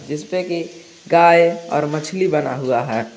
जिसपे की गाय और मछली बना हुआ है।